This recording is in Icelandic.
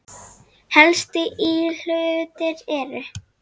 Helstu íhlutir eru